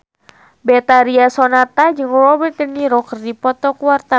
Betharia Sonata jeung Robert de Niro keur dipoto ku wartawan